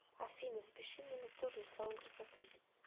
афина запиши меня на вторник в салон красоты